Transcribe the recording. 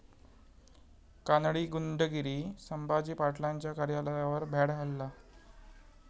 कानडी गुंडगिरी, संभाजी पाटलांच्या कार्यालयावर भ्याड हल्ला